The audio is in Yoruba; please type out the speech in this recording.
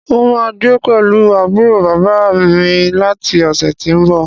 N óò máa gbé pẹ̀lú àbúrò bàbá à mi láti ọ̀sẹ̀ tí ń bi